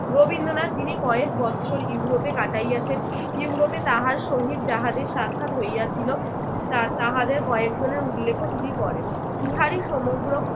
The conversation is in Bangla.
রবীন্দ্রনাথ যিনি কয়েক বৎসর ইউরোপে কাটাইয়াছেন ইউরোপে তাহার সহিত যাহাদের সাক্ষাৎ হইয়াছিল তার তাহাদের কয়েকজনের উল্লেখও তিনি করেন।